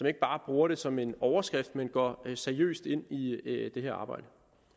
ikke bare bruger det som en overskrift men går seriøst ind i det her arbejde